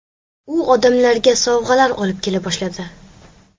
U odamlarga sovg‘alar olib kela boshladi.